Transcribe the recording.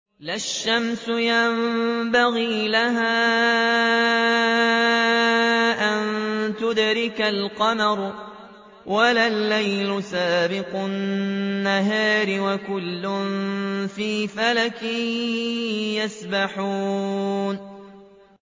لَا الشَّمْسُ يَنبَغِي لَهَا أَن تُدْرِكَ الْقَمَرَ وَلَا اللَّيْلُ سَابِقُ النَّهَارِ ۚ وَكُلٌّ فِي فَلَكٍ يَسْبَحُونَ